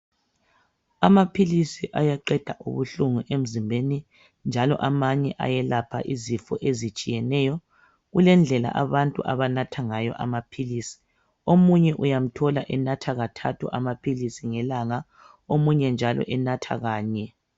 Amaphilisi ayaqeda ubuhlungu emzimbeni njalo amanye ayelapha izifo ezitshiyeneyo. Kulendlela abantu abanathangayo amaphilisi. Omunye uyamthola enatha kathathu amaphilisi ngelanga. Omunye njalo enatha kanye.